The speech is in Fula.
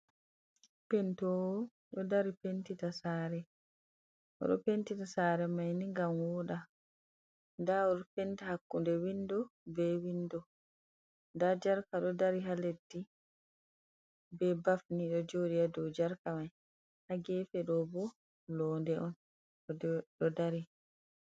Pentowo do dari pentita sare maini gam woda, da penti hakkude windo be windo da jarka do dari ha leddi be bafni do jodi ha do jarka mai ha gefe dobo londe on do dari.